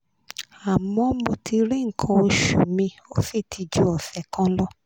àmọ́ mo ti ri nkan oṣu mi ó sì ti ju ose kan lọ